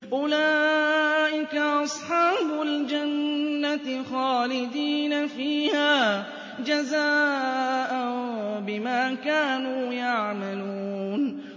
أُولَٰئِكَ أَصْحَابُ الْجَنَّةِ خَالِدِينَ فِيهَا جَزَاءً بِمَا كَانُوا يَعْمَلُونَ